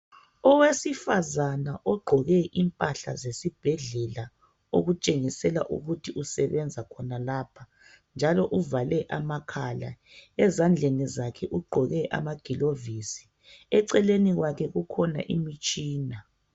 Owesifazane ogqoke impahla zesibhedlela, okutshengisela ukuthi usebenza khona lapho, njalo uvale amakhala. Ezandleni ugqoke anagilovisi. Eceleni kwakhe kukhona imitshina.